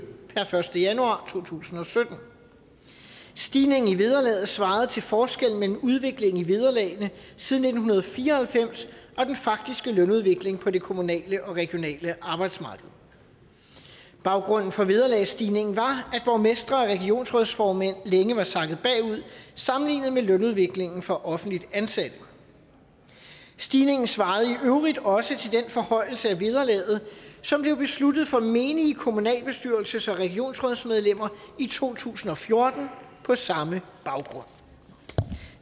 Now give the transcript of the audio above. per første januar to tusind og sytten stigningen i vederlaget svarede til forskellen mellem udvikling i vederlagene siden nitten fire og halvfems og den faktiske lønudvikling på det kommunale og regionale arbejdsmarked baggrunden for vederlagsstigningen var at borgmestre og regionsrådsformænd længe var sakket bagud sammenlignet med lønudviklingen for offentligt ansatte stigningen svarede i øvrigt også til den forhøjelse af vederlaget som blev besluttet for menige kommunalbestyrelses og regionsrådsmedlemmer i to tusind og fjorten på samme baggrund